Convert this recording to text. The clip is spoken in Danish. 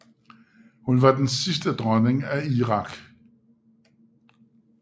Hun var den sidste dronning af Irak